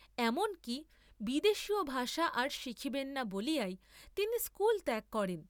এমন কি বিদেশীয় ভাষা আর শিখিবেন না বলিয়াই তিনি স্কুল ত্যাগ করেন।